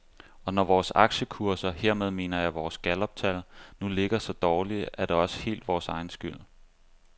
Og når vores aktiekurser, hermed mener jeg vores galluptal, nu ligger så dårligt, er det også helt vores egen skyld.